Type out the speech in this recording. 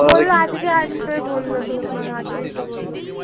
বললো আজকে আসবে বললো তো মনে হয় আজকেই তো বললো।